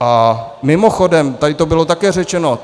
A mimochodem tady to bylo také řečeno.